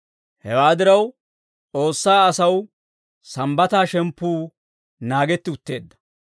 Hewaa diraw, S'oossaa asaw Sambbataa shemppuu naagetti utteedda.